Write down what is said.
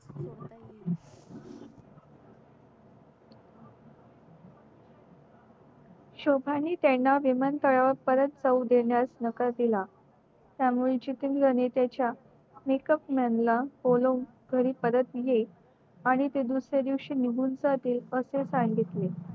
शोभा नि त्याला विमानतळावर परत जाऊ देण्यास नकार दिलात्या मुळे जितेंद्र नि त्याच्या makeup man बोलवून घरी परत ये आणि ते दुसऱ्या दिवशी निगुन जातील व ते सांगितले